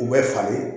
U bɛ falen